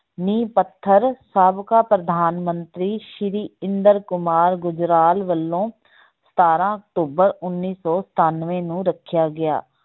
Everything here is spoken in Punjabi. ਨੀਂਹ ਪੱਥਰ ਸਾਬਕਾ ਪ੍ਰਧਾਨ ਮੰਤਰੀ ਸ੍ਰੀ ਇੰਦਰ ਕੁਮਾਰ ਗੁਜਰਾਲ ਵੱਲੋਂ ਸਤਾਰਾਂ ਅਕਤੂਬਰ ਉੱਨੀ ਸੌ ਸਤਾਨਵੇਂ ਨੂੰ ਰੱਖਿਆ ਗਿਆ।